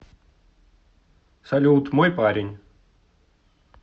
салют мой парень